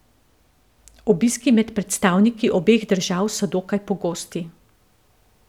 Obiski med predstavniki obeh držav so dokaj pogosti.